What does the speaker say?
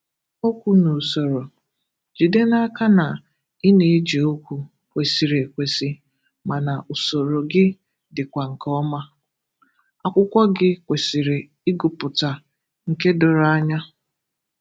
Okwu na Usoro: Jide n’aka na ị na-eji okwu kwésịrị ekwesi ma na usoro gị dịkwa nke ọma. Akwụkwọ gị kwésịrị ịgụpụta nke doro anya.